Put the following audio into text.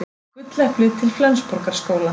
Gulleplið til Flensborgarskóla